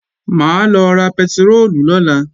Mà á lọ ra pẹtiróòlù lọ́la